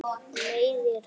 Meiðir hann.